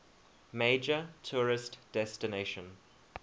major tourist destination